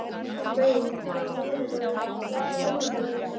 Mey, hvaða mánaðardagur er í dag?